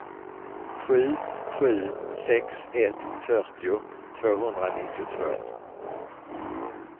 sju sju sex ett fyrtio tvåhundranittiotvå